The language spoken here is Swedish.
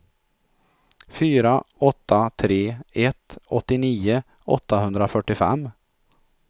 fyra åtta tre ett åttionio åttahundrafyrtiofem